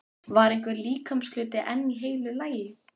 Var einhver líkamshluti enn í heilu lagi?